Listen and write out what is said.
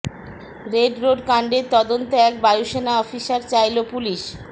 red road কাণ্ডের তদন্তে এক বায়ুসেনা অফিসার চাইল পুলিশ